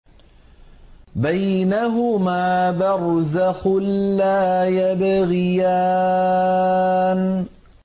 بَيْنَهُمَا بَرْزَخٌ لَّا يَبْغِيَانِ